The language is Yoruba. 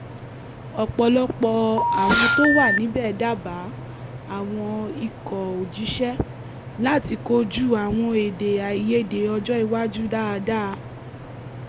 ọpọlọpọ àwọn tó wà níbẹ̀ dábàá àwọn ikọ̀-òjíṣẹ́ láti kojú àwọn èdè-àìyedè ọjọ́ iwájú dáadáa